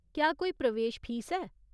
क्या कोई प्रवेश फीस ऐ ?